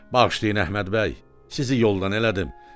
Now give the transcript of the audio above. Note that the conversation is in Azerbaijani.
Bağışlayın Əhməd bəy, sizi yoldan elədim.